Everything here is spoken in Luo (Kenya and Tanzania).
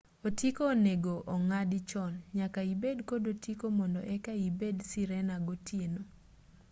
otiko onego ong'adi chon nyaka ibed kod otiko mondo eka ibed sirena gotieno